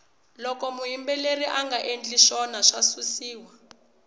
loko muyimbeleri anga ndli swona wa susiwa